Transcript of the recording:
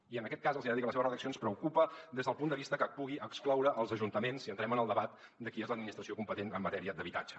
i en aquest cas els hi he de dir que la seva redacció ens preocupa des del punt de vista que pugui excloure els ajuntaments si entrem en el debat de qui és l’administració competent en matèria d’habitatge